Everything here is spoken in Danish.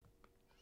DR P3